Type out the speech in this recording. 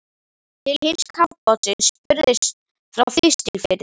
Til hins kafbátsins spurðist frá Þistilfirði.